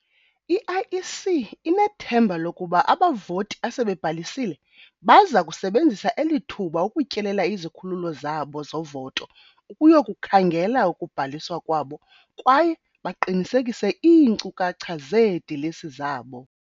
I-IEC inethemba lokuba abavoti asebebhalisile baza kusebenzisa eli thuba ukutyelela izikhululo zabo zovoto ukuyokukhangela ukubhaliswa kwabo kwaye baqinisekise iinkcukacha zeedilesi zabo.